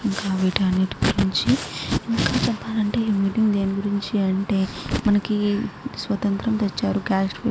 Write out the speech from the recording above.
ఇంకా వీటి అన్నిటి గురించి ఇంకా చెప్పాలంటే ఈ మీటింగ్ దేని గురించి అంటే మనకి స్వాతంత్ర్యం తెచ్చారు --